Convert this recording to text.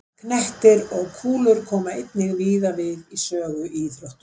Knettir og kúlur koma einnig víða við sögu í íþróttum.